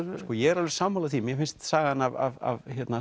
ég er alveg sammála því að mér finnst sagan af